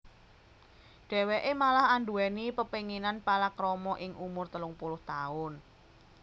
Dhèwèké malah anduwèni pepénginan palakrama ing umur telung puluh taun